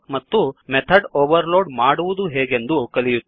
ಎಂದು ಮತ್ತು method overload ಮಾಡುವುದು ಹೇಗೆಂದು ಕಲಿಯುತ್ತೇವೆ